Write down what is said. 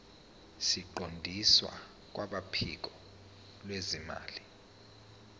siqondiswe kwabophiko lwezimali